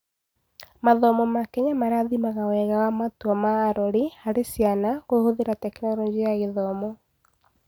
Mathomo ma Kenya marathimaga wega wa matua ma arori harĩ ciana kũhũthĩra Tekinoronjĩ ya Gĩthomo.